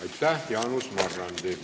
Aitäh, Jaanus Marrandi!